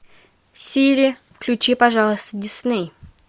сири включи пожалуйста дисней